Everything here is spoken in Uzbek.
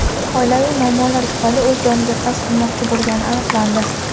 oilaviy muammolar tufayli o‘z joniga qasd qilmoqchi bo‘lgani aniqlandi.